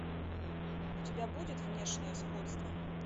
у тебя будет внешнее сходство